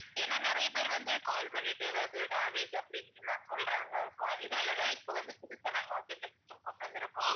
ஏன்னா நிறைய பேர் வந்து call பண்ணிட்டு எதாவது damage அப்படி இப்படினுலாம் சொல்றங்க so அதனால தான் இப்ப வந்து புதுசா நாங்க வந்து இந்த system கொண்டு வந்திருக்கோம்